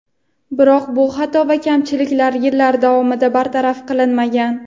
Biroq bu xato va kamchiliklar yillar davomida bartaraf qilinmagan.